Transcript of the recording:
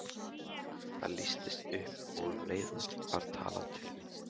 Það lýstist upp og um leið var talað til mín.